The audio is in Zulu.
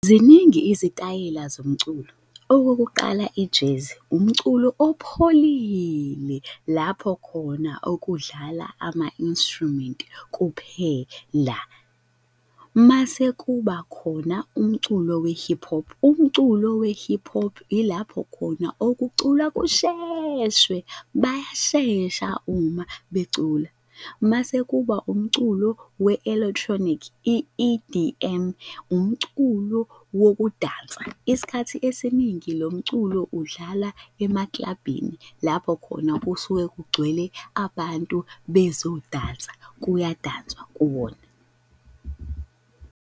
Ziningi izitayela zomculo. Okokuqala, i-jazz, umculo opholile lapho khona okudlala ama-instrument kuphela. Mase kuba khona umculo we-hip hop, umculo we-hip hop ilapho khona okuculwa kusheshwe bayashesha uma becula. Masekuba umculo we-electronic i-E_D_M, umculo wokudansa, isikhathi esiningi lo mculo udlala emaklabhini lapho khona kusuke kugcwele abantu bezodansa, kuyadanswa kuwona.